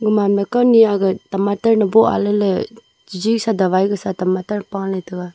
gaman ma kawni tomato bow aley le chiji sa dawa gasa tamato ma pale taiga.